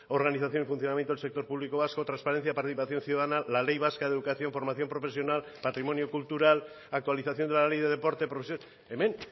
organización funcionamiento del sector público vasco transparencia participación ciudadana la ley vasca de educación y formación profesional patrimonio cultural actualización de la ley de deporte hemen